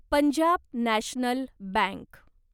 Punjab national bank